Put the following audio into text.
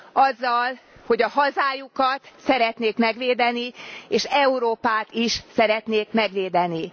azzal, hogy a hazájukat szeretnék megvédeni és Európát is szeretnék megvédeni.